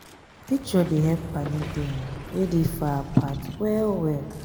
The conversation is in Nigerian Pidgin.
picture dey help paddy dem wey dey far apart well well.